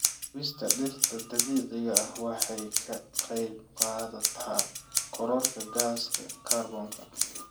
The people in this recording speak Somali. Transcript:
Gubista dhirta dabiiciga ah waxay ka qaybqaadataa kororka gaaska kaarboonka.